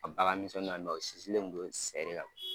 A bagan misɛnniw sinsinlen kun do sɛ le kan